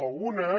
algunes